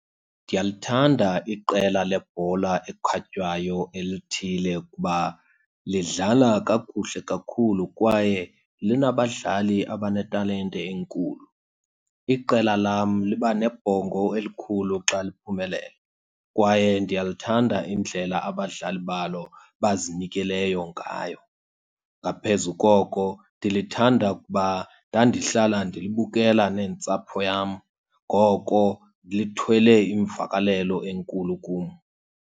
Ndiyalithanda iqela lebhola ekhatywayo elithile kuba lidlala kakuhle kakhulu kwaye linabadlali abanetalente enkulu. Iqela lam liba nebhongo elikhulu xa liphumelela kwaye ndiyalithanda indlela abadlali balo abazinikeleyo ngayo. Ngaphezu koko ndilithanda kuba ndandihlala ndilibukela nentsapho yam, ngoko lithwele imvakalelo enkulu kum.